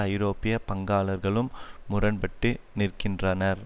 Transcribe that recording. ஐரோப்பிய பங்காளர்களும் முரண்பட்டு நிற்கின்றனர்